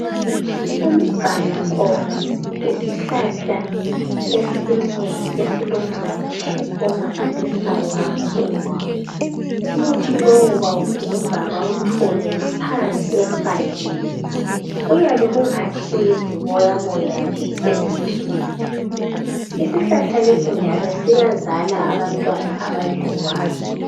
Umgani nkomo yisihlahla esinye esilomuthi omangalisayo kakhulu umuthi lo bawugebha bewuthole phansi empandeni kuyabe kungathi yiziboya boya nje ezinsundu isihlahla lesi njalo siyazala abantwana abadliwayo